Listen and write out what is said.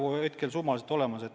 Mul ei ole neid summasid praegu olemas.